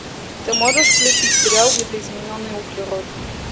ты можешь включить сериал видоизмененный углерод